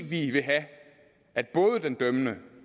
vi vil have at både den dømmende